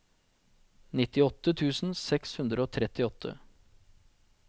nittiåtte tusen seks hundre og trettiåtte